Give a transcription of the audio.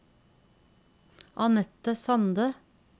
Annette Sande